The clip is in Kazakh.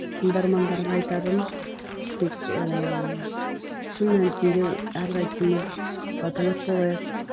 тыңдармандарға айтарым тек ыыы шын мәнісінде әрқайсымыз патриот болайық